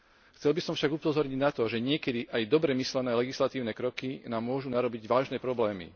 Chcel by som však upozorniť na to, že niekedy aj dobre myslené legislatívne kroky nám môžu narobiť vážne problémy.